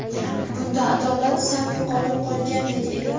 Bunda adolat sal yo‘qolib qolgandek edi.